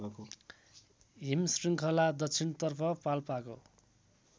हिमशृङ्खला दक्षिणतर्फ पाल्पाको